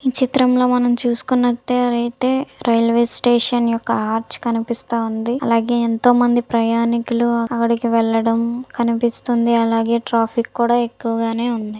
చిత్రంలో మనం చూసుకున్నట్లయితే రైల్వే స్టేషన్ యొక్క ఆర్చ్ కనిపిస్తోంది అలాగే ఎంతో మంది ప్రయాణికులు ఆవిడకి వెళ్లడం కనిపిస్తుంది అలాగే ట్రాఫిక్ కూడా.